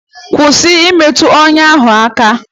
Kwụsị imetụ ọnya ahụ aka!